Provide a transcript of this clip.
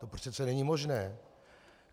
To přece není možné.